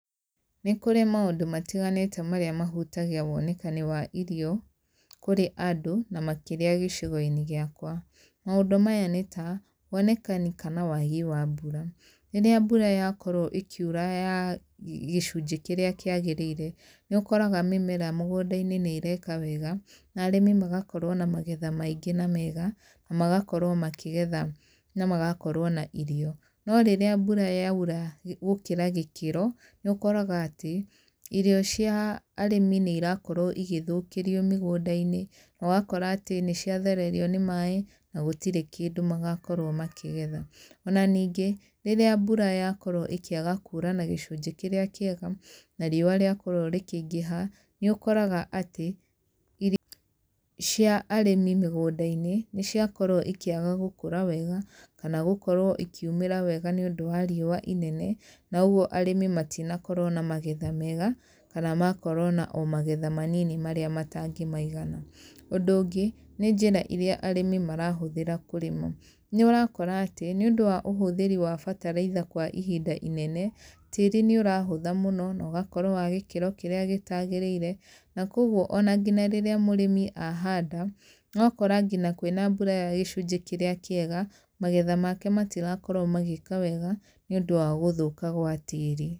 Nĩ kũrĩ maũndũ matiganĩte marĩa mahutagia wonekani wa irio kũrĩ andũ na makĩria gicigo-inĩ giakwa. Maundũ maya nĩ ta wonekani kana wagi wa mbura, rĩrĩa mbura yakorwo ĩkĩura ya gicunjĩ kĩrĩa kĩagĩrĩire nĩ ũkoraga mĩmera mĩgũnda-inĩ nĩ ĩreka wega na arĩmi magakorwo na magetha maingĩ na mega na magakorwo makĩgetha na magakorwo na irio no rĩrĩa mbura yaura gũkĩra gĩkĩro ,nĩ ũkoraga atĩ irio cia arĩmi nĩ irakorwo igĩthũkĩrio mĩgũnda-inĩ na ũgakora atĩ nĩ cia thererio nĩ maĩ na gũtirĩ kĩndũ magakorwo makĩgetha .Ona ningĩ rĩrĩa mbura yakorwo ĩkĩaga kura na gĩcunjĩ kĩrĩa kĩega na riũa rĩakorwo rĩkĩ ingĩha, nĩ ũkoraga atĩ irio cia arĩmi mĩgũnda-inĩ nĩ ciakorwo ikĩaga gũkũra gũkorwo wega kana gũkorwo ikĩumĩra wega nĩ ũndũ wa riũa inene na ũguo arĩmi matinakorwo na magetha mega kana magakorwo ona magetha manini marĩa matangĩmaigana .Ũndũ ũngĩ nĩ njĩra iria arĩmi marahũthĩra kũrĩma, nĩ ũrakora atĩ nĩ ũndũ wa ũhũthĩri wa mbataraica kwa ihinda inene, tíĩi nĩ ũrahũtha mũno na ũgakorwo wa gĩkĩro kĩrĩa gĩtagĩrĩire na kwoguo ona nginya rĩrĩa mũrĩmi ahanda ũgakora nginya kwĩna mbura ya gĩcunjĩ kĩrĩa kĩega magetha make matirakorwo magĩka wega nĩ ũndũ wa gũthũka gwa tĩri.